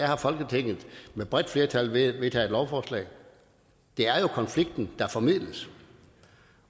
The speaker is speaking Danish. har folketinget med bredt flertal vedtaget lovforslag det er jo konflikten der formidles